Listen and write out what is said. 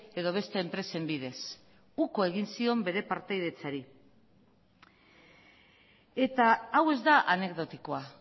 edo beste enpresen bidez uko egin zion bere partaidetzari eta hau ez da anekdotikoa